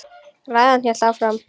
Ræðan hélt áfram: